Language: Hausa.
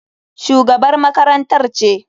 Shugabar makarantar ce.